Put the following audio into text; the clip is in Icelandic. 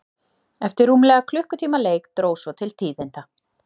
Eftir rúmlega klukkutíma leik dró svo til tíðinda.